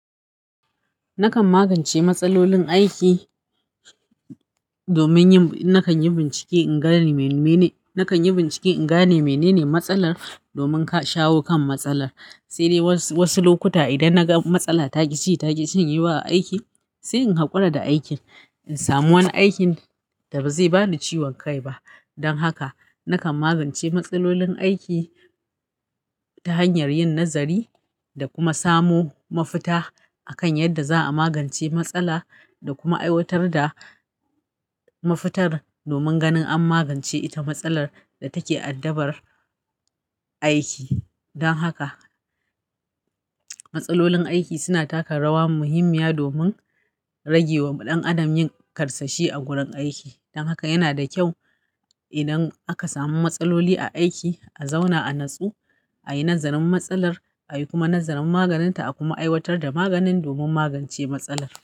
Nakan magance matsalolin aiki domin nakan yi bincike in gane menene matsalar domin shaho kan matsalar. Sai dai was wasu lokuta idan na ga matsala taki ci take cin yi ba aiki, sai in hakura da aikin in samu wani aikin da ba zai bani ciwon kai ba. Don haka nakan magance matsalolin aiki ta hanyar yin nazari da kuma samo mafita akan yadda za a magance matsala da kuma aiwatar da mafitar domin ganin an magance ita matsalar da take addabar aiki. Don haka matsalolin aiki suna taka rawa muhimmiya domin rage wa ɗan adam yin ƙarsashi a gurin aiki. Don haka yana da kyau idan aka samu matsaloli a aiki, a zauna a natsu, a yi nazarin matsalar, a yi kuma nazarin maganinta, a kuma aiwatar da maganin domin magance matsalar.